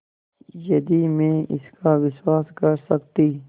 यदि मैं इसका विश्वास कर सकती